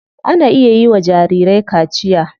Ana iya yiwa jarirai kaciya.